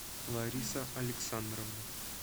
лариса александровна